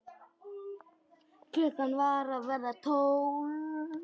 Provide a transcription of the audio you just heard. Klukkan var að verða tólf.